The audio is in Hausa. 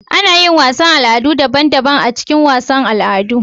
Anayin wasan Al'adu daban daban a jikin wasan al'adu